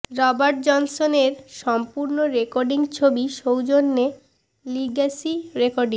Robert Johnson এর সম্পূর্ণ recording ছবি সৌজন্যে লিগ্যাসি রেকর্ডিং